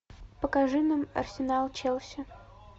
покажи нам арсенал челси